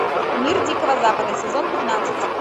мир дикого запада сезон пятнадцать